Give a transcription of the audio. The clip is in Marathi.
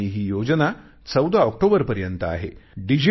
आणि ही योजना 14 ऑक्टोबरपर्यंत आहे